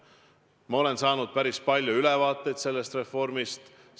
Ma olen saanud päris palju ülevaateid sellest reformist.